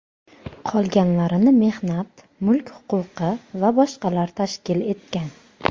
Qolganlarini mehnat, mulk huquqi va boshqalar tashkil etgan.